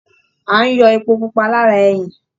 À ń yọ Epo pupa lára ẹyìn